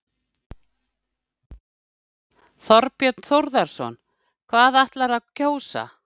Þorbjörn Þórðarson: Og hvað ætlarðu að kjósa?